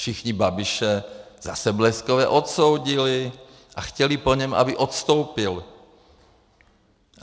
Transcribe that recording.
Všichni Babiše zase bleskově odsoudili a chtěli po něm, aby odstoupil.